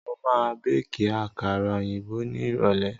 Mo ma béèkí àkàrà òyìnbó ní ìrọ̀lẹ́